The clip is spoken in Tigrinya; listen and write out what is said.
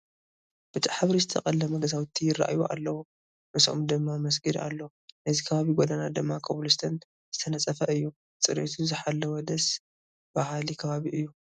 ብጫ ሕብሪ ዝተቐለሙ ገዛውቲ ይርአዩ ኣለዉ፡፡ ምስኦም ድማ መስጊድ ኣሎ፡፡ ናይዚ ከባቢ ጐደና ድማ ኮብል ስቶን ዝተነፀፈ እዩ፡፡ ፅሬቱ ዝሓለወ ደስ በሃሊ ከባቢ እዩ፡፡